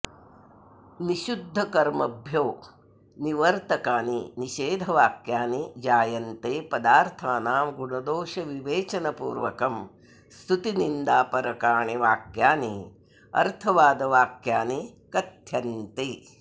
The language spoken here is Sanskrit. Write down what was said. निषिद्धकर्मभ्यो निवर्तकानि निषेधवाक्यानि जायन्ते पदार्थानां गुणदोषविवेचनपूर्वकं स्तुतिनिन्दापरकाणि वाक्यानि अर्थवादवाक्यानि कथ्यन्ते